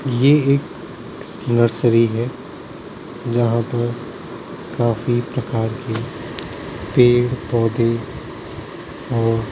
ये एक नर्सरी हैं जहाँ पर काफी प्रकार के पेड़ पौधे और --